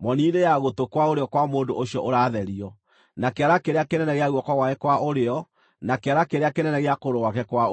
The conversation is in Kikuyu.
moni-inĩ ya gũtũ kwa ũrĩo kwa mũndũ ũcio ũratherio, na kĩara kĩrĩa kĩnene gĩa guoko gwake kwa ũrĩo na kĩara kĩrĩa kĩnene gĩa kũgũrũ gwake kwa ũrĩo.